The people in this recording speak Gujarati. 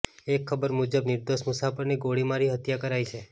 એક ખબર મુજબ નિર્દોષ મુસાફરની ગોળીમારી હત્યા કરાઈ છે